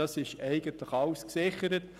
Das ist somit alles gesichert.